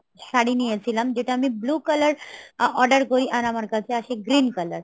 শাড়ি নিয়েছিলাম। যেটা আমি blue color order করি আর আমার কাছে আছে green color